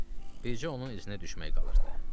Bircə onun iznə düşmək qalırdı.